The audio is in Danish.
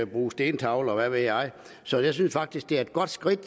bruge stentavler og hvad ved jeg så jeg synes faktisk det er et godt skridt